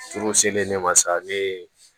Turu selen ne ma sa ne